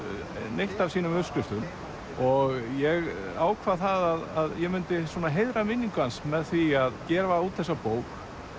neitt af sínum uppskriftum og ég ákvað það að ég myndi heiðra minningu hans með því að gefa út þessa bók